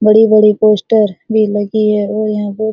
बड़ी-बड़ी पोस्टर भी लगी है और यहां पे --